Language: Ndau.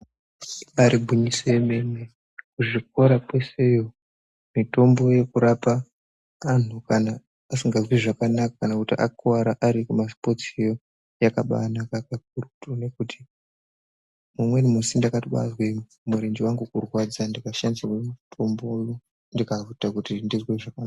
Bari gwinyiso yemene muzvikora kwesheyo mitombo yekurapa anhu kana asikazwi zvakanaka kana kuti akuwara ari kumasipotsiyo yakabanaka kakurutu ngekuti umweni musi ndakatobaazwe murenje wangu kurwadza ndikashandisirwe mitombo ndikaite kuti ndizwe zvaka.